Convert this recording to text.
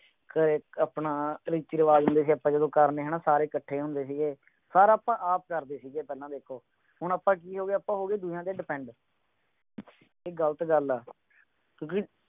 ਕਰੇ ਆਪਣਾ ਰੀਤੀ ਰਿਵਾਜ਼ ਹੁੰਦੇ ਸੀ ਆਪਾਂ ਜਿਦੋਂ ਕਰਨੇ ਹੈਨਾ ਸਾਰੇ ਕੱਠੇ ਹੁੰਦੇ ਸੀ ਸਾਰਾ ਆਪਾਂ ਆਪ ਕਰਦੇ ਸੀ ਦੇਖੋ ਹੁਣ ਆਪਾਂ ਕੀ ਹੋ ਗਿਆ ਆਪਾਂ ਹੋ ਗਏ ਦੂਜੇ ਤੇ depend ਇਹ ਗਲਤ ਗੱਲ ਆ ਕਿਉਂਕਿ